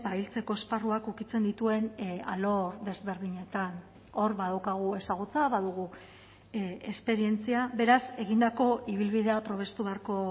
hiltzeko esparruak ukitzen dituen alor desberdinetan hor badaukagu ezagutza badugu esperientzia beraz egindako ibilbidea probestu beharko